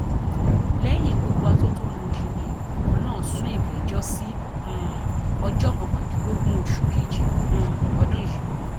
lẹyìn gbogbo atótónu yìí ni ìgbìmọ náà sún ìgbẹjọ sí um ọjọ kọkàndínlógún oṣù kejì um ọdún yìí